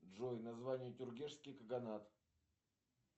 джой название тюргешский каганат